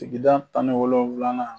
Sikida tan ni wolonwula na